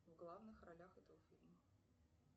в главных ролях этого фильма